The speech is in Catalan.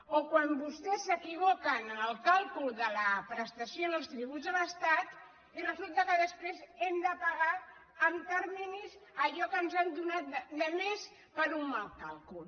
o quan vostès s’equivoquen en el càlcul de la prestació en els tributs de l’estat i resulta que després hem de pagar en terminis allò que ens han donat de més per un mal càlcul